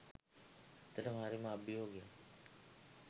ඇත්තටම හරිම අභියෝගයක්